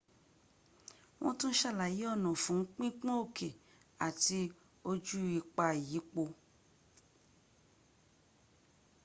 wọ́n tún sàlàyé ọ̀nà fún pípọ́n òkè àti ojú ipa ìyípo